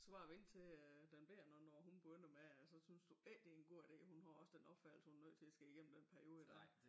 Du skal bare vente øh til den bette nu når hun begynder med at så synes du ikke det god idé at hun har også den opfattelse at hun er nødt til at skulle i gennem den periode dér